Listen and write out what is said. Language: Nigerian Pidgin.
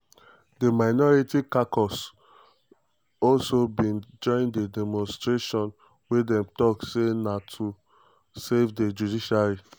di minority caucus (npp mps)also bin join di demonstration wia dem tok say na to #savethejudiciary.